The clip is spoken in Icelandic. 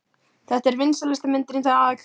Þetta er vinsælasta myndin í dag!